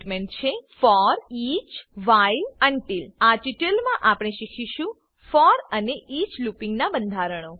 four for each each 000049 000048 while while until until આ tutorial માં આપણે શીખીશું ફોર અને ઇચ લૂપીંગ ના બંધારણો